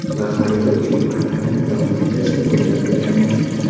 Va har yili ushbu an’anani davom ettirishni mo‘ljal qilganmiz.